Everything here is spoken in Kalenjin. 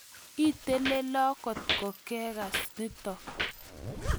Itelelo kotko kekas nitok